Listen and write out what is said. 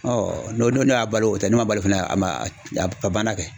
n'o y'a balo o tɛ n'o man balo fana a ma a banna kɛ.